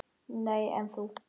Nei, en þú?